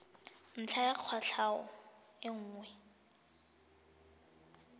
ntlha ya kwatlhao e nngwe